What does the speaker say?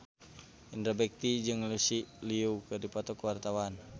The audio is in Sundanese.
Indra Bekti jeung Lucy Liu keur dipoto ku wartawan